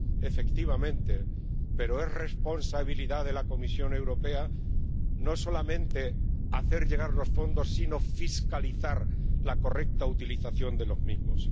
Efectivamente, pero es responsabilidad de la Comisión Europea no solamente hacer llegar los fondos sino fiscalizar la correcta utilización de los mismos.